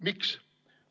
Miks?